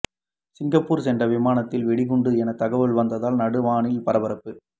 Singapore சென்ற விமானத்தில் வெடிகுண்டு என தகவல் வந்ததால் நடுவானில் பரபரப்பு